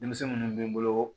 Denmisɛn minnu bɛ n bolo